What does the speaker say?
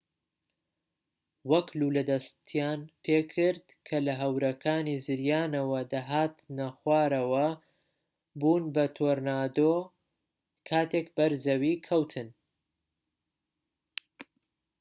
وەک لوولە دەستیان پێکرد کە لە هەورەکانی زریانەوە دەهاتنە خوارەوە و بوون بە تۆرنادۆ کاتێک بەر زەوی کەوتن